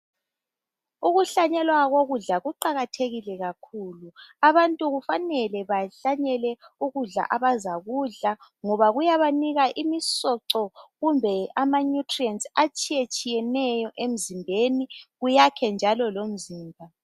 Ukuhlanyelwa kokudla kuqakathekile kakhulu, abantu kufanele bahlanyele ukudla abazakudla ngoba kuyabanika imisoco kumbe ama 'nutrients' atshiyetshiyeneyo emzimbeni kuyakhe njalo lomzimba